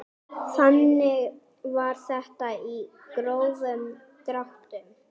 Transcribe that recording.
Þannig var þetta í grófum dráttum.